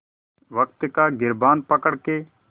वक़्त का गिरबान पकड़ के